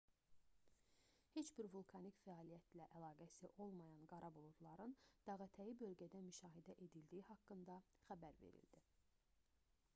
heç bir vulkanik fəaliyyətlə əlaqəsi olmayan qara buludların dağətəyi bölgədə müşahidə edildiyi haqqında xəbər verildi